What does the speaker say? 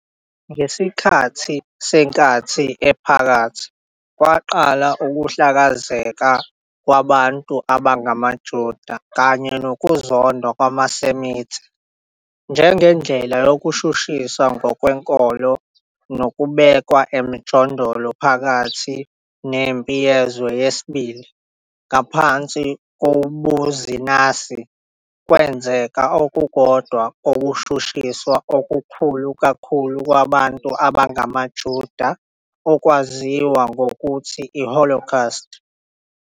Ngesikhathi seNkathi Ephakathi, kwaqala ukuhlakazeka kwabantu abangamaJuda, kanye nokuzondwa kwamaSemite njengendlela yokushushiswa ngokwenkolo nokubekwa emijondolo. Phakathi neMpi Yezwe II, ngaphansi kobuzinasi, kwenzeka okukodwa kokushushiswa okukhulu kakhulu kwabantu abangamaJuda, okwaziwa ngokuthi iHolocaust.